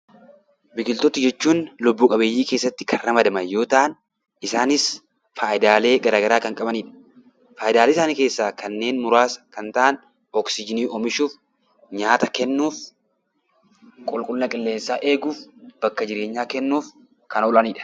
Biqiltoota jechuun lubbu-qabeeyyii keessatti kan ramadaman yoo ta'an, isaanis faayidaalee garaagaraa kan qabaniidha. Faayidaalee isaanii keessaa kanneen muraasa kan ta'an oksiijiinii oomishuuf, nyaata kennuuf, qulqullina qilleensaa eeguuf, bakka jireenyaa kennuuf kan oolanii dha.